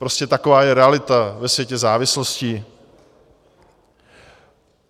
Prostě taková je realita ve světě závislostí.